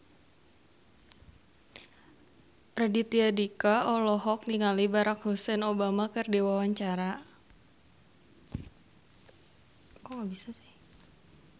Raditya Dika olohok ningali Barack Hussein Obama keur diwawancara